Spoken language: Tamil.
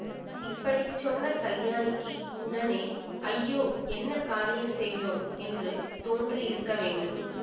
இப்படி சொன்ன கல்யாணிக்கு உடனே ஐயோ என்ன காரியம் செய்தோம் என்று தோன்றியிருக்க வேண்டும்